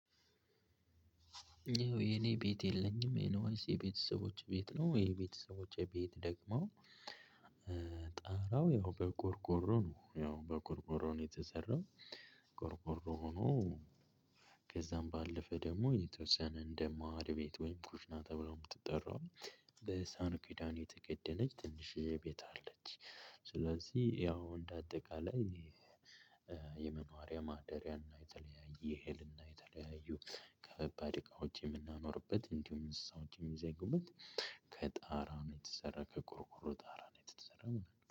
ይኸው የኔ ቤት የለኝም ይሄነው ወይስ የቤተሰቦቼ ቤት ነው? ወይስ የቤተሰቦቼ ቤት ደግሞ። ጠርያው ያው በቆርቆሮ ነው ያው በቆርቆሮ ነው የተሰራው። ቆርቆሮ ሆኖ። ከዛም ባለፈ ደግሞ የተወሰነ እንደማዕድ ቤት ወይም ኩሽና ተብሎ የምትጠራው በሳህን ኪዳን የተከደነች ትንሽ ቤት አለች። ስለዚህ ያው እንደ አጠቃላይ የመኖሪያ ማደሪያና የተለያየ የእህል እና የተለያዩ ከባባድ እቃዎች የምናኖርበት እንዲሁም እንስሳት ይይዛል። ከጣራ ነው የተሰራ ከቆርቆሮ ጣራ ነው የተሰራው